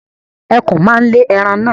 Ẹkùn ma lè ẹran naa